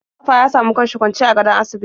Mustapha ya samu kanshi kwancw akan gadon asibiti.